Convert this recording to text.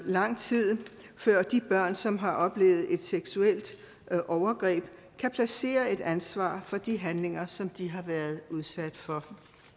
lang tid før de børn som har oplevet et seksuelt overgreb kan placere et ansvar for de handlinger som de har været udsat for